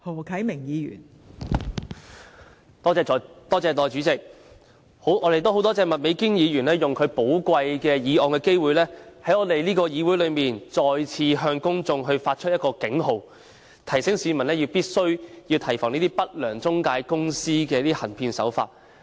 我們很感謝麥美娟議員使用她提出議案的寶貴機會，在議會再次向公眾發出警號，提醒市民必須提防不良中介公司的行騙手法。